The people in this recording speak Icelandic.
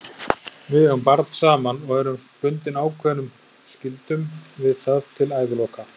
Við eigum barn saman og erum bundin ákveðnum skyldum við það til æviloka.